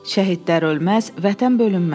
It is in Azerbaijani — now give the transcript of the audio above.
Şəhidlər ölməz, Vətən bölünməz.